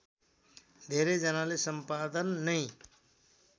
धेरै जनाले सम्पादन नै